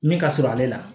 Min ka surun ale la